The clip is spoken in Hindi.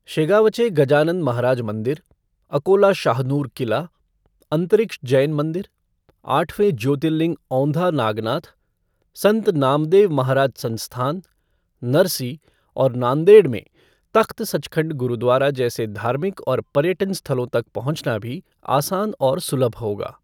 शेगावचे गजानन महाराज मंदिर, अकोला शाहनूर किला, अंतरिक्ष जैन मंदिर, आठवें ज्योतिर्लिंग औंधा नागनाथ, संत नामदेव महाराज संस्थान, नरसी और नांदेड़ में तख्त सचखंड गुरुद्वारा जैसे धार्मिक और पर्यटन स्थलों तक पहुंचना भी आसान और सुलभ होगा।